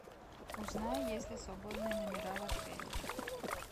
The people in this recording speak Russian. узнай есть ли свободные номера в отеле